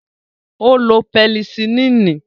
Ó lo pẹnisilínì.